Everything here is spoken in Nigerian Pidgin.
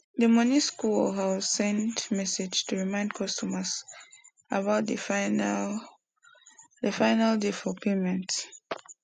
the money school or house send message to remind customers about the final the final day for payment